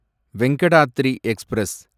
Venkatadri express